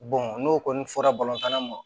n'o kɔni fɔra balontanna ma